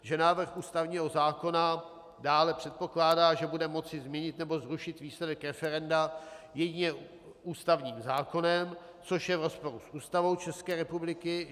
Že návrh ústavního zákona dále předpokládá, že bude moci změnit nebo zrušit výsledek referenda jedině ústavním zákonem, což je v rozporu s Ústavou České republiky.